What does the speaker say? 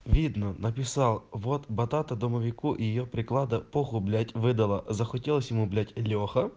видно написал вот батата домовику и её приклада похую блять выдала захотелось ему блять леха